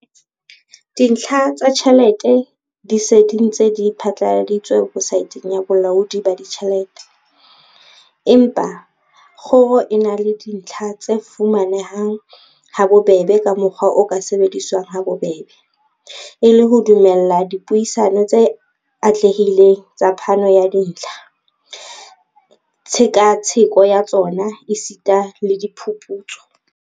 "Dintlha tsa tjhelete di se di ntse di phatlaladitswe webosaeteng ya Bolaodi ba Ditjhelete, empa kgoro e na le dintlha tse fuma nehang habobebe ka mokgwa o ka sebediswang habobebe, e le ho dumella dipuisano tse atlehileng tsa phano ya dintlha, tshekatsheko ya tsona esita le diphuputso."